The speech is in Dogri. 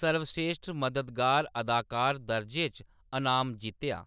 सर्वश्रेश्ठ मददगार अदाकार दरजे च अनाम जित्तेआ।